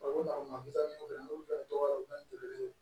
Olu ma taa n'u ye olu bɛɛ ye dɔgɔkɛ ye